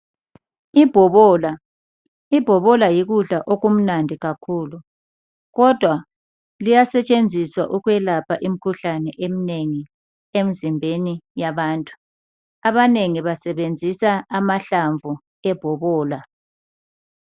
Ibhobola. Ibhobola yikudla okumnandi kakhulu kodwa liyasetshenziswa ukwelapha imikhuhlane emnengi emzimbeni yabantu. Abanengi basebenzisa amahlamvu ebhobola.